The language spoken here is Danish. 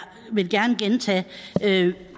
vil gerne gentage